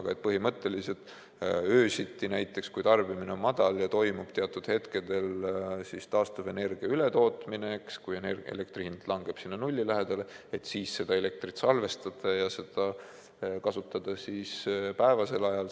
Aga näiteks öösiti, kui tarbimine on madal ja teatud hetkedel toimub taastuvenergia ületootmine ning elektri hind langeb nulli lähedale, siis saaks seda elektrit salvestada ja kasutada päevasel ajal.